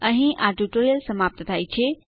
અહીં આ ટ્યુટોરીયલ સમાપ્ત થાય છે